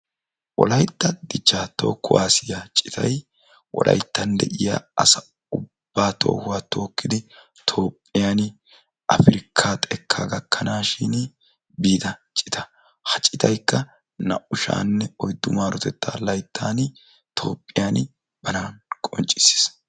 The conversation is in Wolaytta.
Wolaytta dichchaa toho kuwaasiya citayi wolayttan de"iya asa ubbaa toohuwa tookkidi toophphiyani afirkkaa xekkaa gakkanaashin biida cita. Ha citaykka naa"u sha"anne oyddu maarotettaa layttaani toophphiyani bana qonccissis.